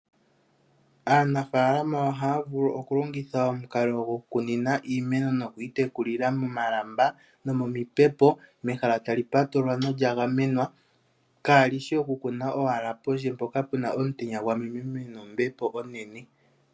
Aanafaalama ohaya vulu okulongitha omukalo gokukunina iimeno nokuyi tekulila momalamba nomomipepo, mehala tali patululwa nolya gamwenwa kaali shi owala okukuna pondje mpoka pu na omutenya gwamemememe nombepo onene.